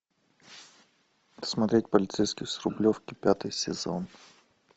смотреть полицейский с рублевки пятый сезон